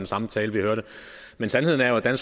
samme tale vi hørte men sandheden er jo at